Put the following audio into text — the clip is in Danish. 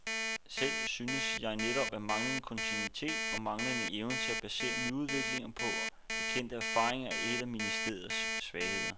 Selv synes jeg netop, at manglende kontinuitet og manglende evne til at basere nyudviklinger på erkendte erfaringer er et af ministeriets svagheder.